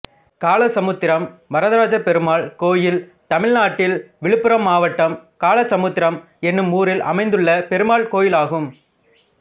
காளசமுத்திரம் வரதராஜபெருமாள் கோயில் தமிழ்நாட்டில் விழுப்புரம் மாவட்டம் காளசமுத்திரம் என்னும் ஊரில் அமைந்துள்ள பெருமாள் கோயிலாகும்